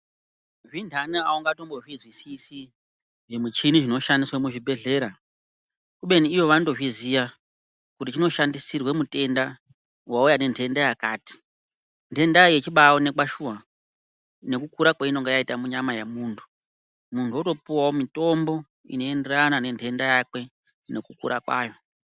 Zvindani aungatombozvizwisisi zvimuchini zvinoshandiswa muzvibhedhleya kubeni ivo vanotozviziya kuti zvinoshandisirwe mutenda wauya nentenda yakati ntenda yechibaonekwa shuwa nekukura kwainenge yaita munyama yemuntu muntu otopuwawo mitombo inoenderana nentenda yake nekukura kwayo.